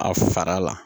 A fara la